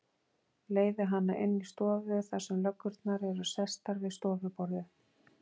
Leiði hana inn í stofu þar sem löggurnar eru sestar við stofuborðið.